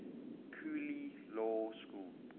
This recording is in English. cooley law school